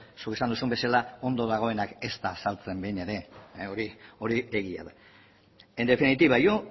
zuk esan duzun bezala ondo dagoena ez da azaltzen behin ere hori egia da en definitiva yo